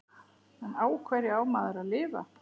En á hverju á maður að lifa?